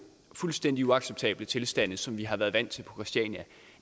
fuldstændig uacceptable tilstande som vi har været vant til på christiania